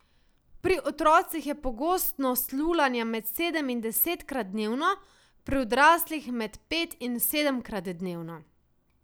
Pri otrocih je pogostnost lulanja med sedem in desetkrat dnevno, pri odraslih med pet in sedemkrat dnevno.